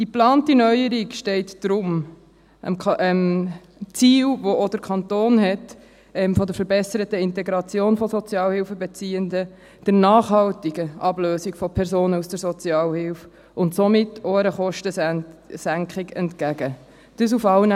Die geplante Neuerung steht deshalb dem Ziel der verbesserten Integration von Sozialhilfebeziehenden, der nachhaltigen Ablösung von Personen aus der Sozialhilfe und somit auch einer Kostensenkung entgegen, welches auch der Kanton hat.